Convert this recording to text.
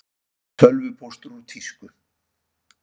Tölvupóstur úr tísku